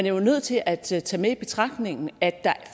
jo nødt til at tage med i betragtning at der